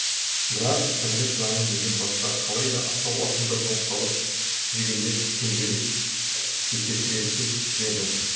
бірақ тірлік заңы мүлде басқа қалай да асау ақынды ноқталап жүгендеп пенделік текетіреске түсіреді